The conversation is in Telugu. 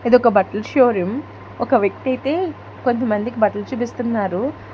ఇదొక్క బట్టల షోరూం ఒక వ్యక్తి అయితే కొద్ది మందికి బట్టలు చూపిస్తున్నారు.